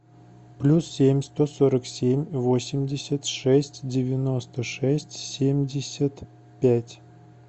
плюс семь сто сорок семь восемьдесят шесть девяносто шесть семьдесят пять